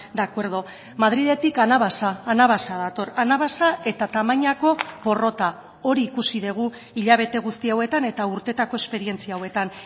de acuerdo madriletik anabasa anabasa dator anabasa eta tamainako porrota hori ikusi dugu hilabete guzti hauetan eta urteetako esperientzia hauetan